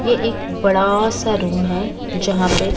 यह एक बड़ा सा रूम है जहां पे--